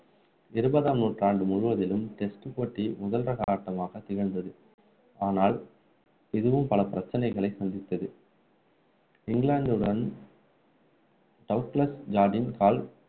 இருபதாம் நூற்றாண்டு முழுவதிலும் test போட்டி முதல் தர ஆட்டமாக திகழ்ந்தது ஆனால் இதுவும் பல பிரச்சனைகளை சந்தித்தது இங்கிலாந்துடன் டவுக்லஸ் ஜார்டின் கால்